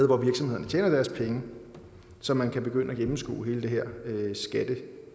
hvor virksomhederne tjener deres penge så man kan begynde at gennemskue hele det her